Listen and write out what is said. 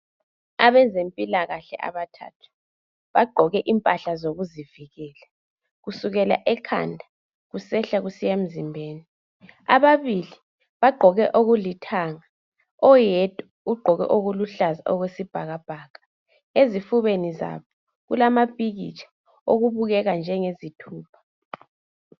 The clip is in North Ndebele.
Abezempilakahle abathathu bagqoke impahla zokuzivikela kusukela ekhanda kusehla kusiya emzimbeni. Ababili bagqoke okulithanga. Oyedwa ugqoke okuluhlaza okwesibhakabhaka. Ezifubeni zabo kulamapikitsha okubukeka njengezithupha